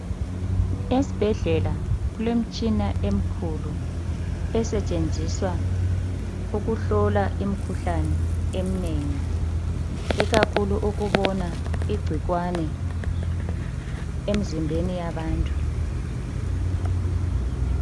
Esbhedlela kulemtshina emkhulu esetshenziswa ukuhlola imikhuhlane emnengi ikakhulu ukubona igcikwane emzimbeni yabantu